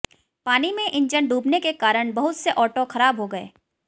पानी में इंजन डूबने के कारण बहुत से ऑटो खराब हो गए